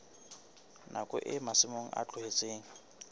nakong eo masimo a tlohetsweng